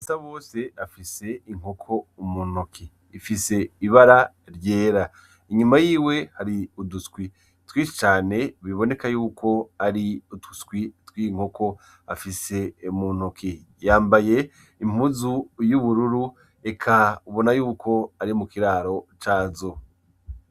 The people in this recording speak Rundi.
Basabose afise inkoko muntoki ifise ibara ryera ,Inyuma yiwe hari uduswi twishi cane biboneka yuko ari uduswi tw'inkoko afise muntoki ,Yambaye impuzu y'ubururu eka ubona yuko ari mukiraro cazo